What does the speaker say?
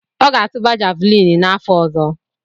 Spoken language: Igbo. Ọ ga-atụba javuliini n’afọ ọzọ.